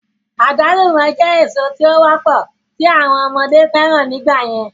Àgbálùmọ̀ jẹ́ èso tí ó wọ́pọ̀ tí àwọn ọmọdé fẹ́ràn ní ìgbà yẹn